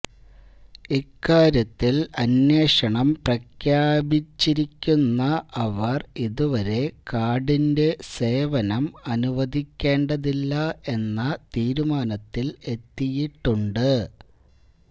ഇക്കാര്യത്തില് അന്വേഷണം പ്രഖ്യാപിച്ചിരിക്കുന്ന അവര് അതുവരെ കാര്ഡിന്റെ സേവനം അനുവദിക്കേണ്ടതില്ല എന്ന തീരുമാനത്തില് എത്തിയിട്ടുണ്ട്